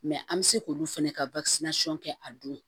an bɛ se k'olu fɛnɛ ka kɛ a don